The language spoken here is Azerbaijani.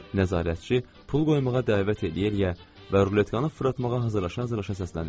Nəzarətçi pul qoymağa dəvət eləyə-eləyə və ruletkanı fırlatmağa hazırlaşa-hazırlaşa səslənirdi.